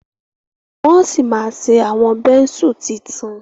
wón sí má ṣe Awọn Bẹ́ńsù títún.